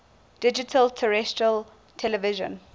digital terrestrial television